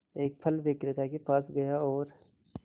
एक फल विक्रेता के पास गया और